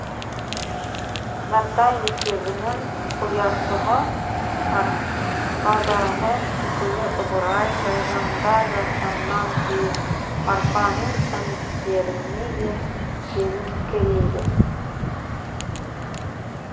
нартай мектебінің ұяшығы арқадағы үкілі ыбырай тайжанда жатқаннан кейін арқаның әндеріне де келіңкірейді